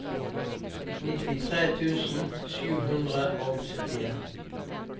nittitre tusen sju hundre og syttien